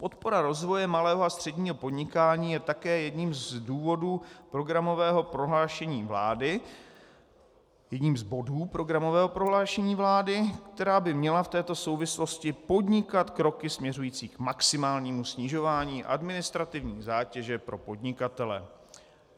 Podpora rozvoje malého a středního podnikání je také jedním z důvodů programového prohlášení vlády, jedním z bodů programového prohlášení vlády, která by měla v této souvislosti podnikat kroky směřující k maximálnímu snižování administrativní zátěže pro podnikatele.